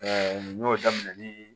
n y'o daminɛ nii